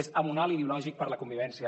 és amonal ideològic per a la convivència